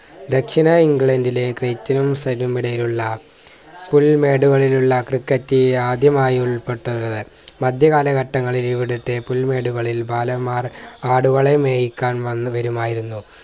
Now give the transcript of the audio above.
ദക്ഷിണാഇംഗ്ലണ്ടിലെ സലൂമ്‌നിടയിലുള്ള പുൽമേടുകളിലുള്ള ക്രിക്കറ്റ് ആദ്യമായി ഉൽപ്പെട്ടത് മധ്യകാലഘട്ടങ്ങളിൽ ഇവിടുത്തെ പുൽമേടുകളിൽ ബാലമ്മാർ ആടുകളെ മേയ്ക്കാൻ വന്ന് വരുമായിരുന്നു